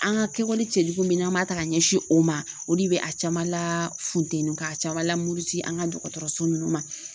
An ŋa kɛwale cɛjugu min n'an b'a ta ka ɲɛsin o ma o di bɛ a caman laafuntenu k'a caman lamuruti an ŋa dɔgɔtɔrɔso ninnu ma.